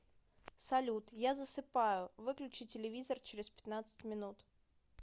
салют я засыпаю выключи телевизор через пятнадцать минут